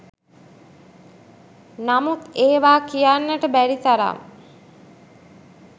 නමුත් ඒවා කියන්නට බැරි තරම්